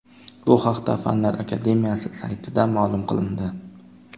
Bu haqda Fanlar akademiyasi saytida ma’lum qilindi .